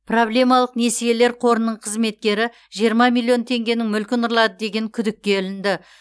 проблемалық несиелер қорының қызметкері жиырма миллион теңгенің мүлкін ұрлады деген күдікке ілінді